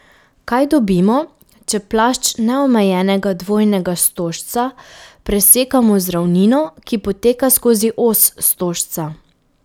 Kaj dobimo, če plašč neomejenega dvojnega stožca presekamo z ravnino, ki poteka skozi os stožca?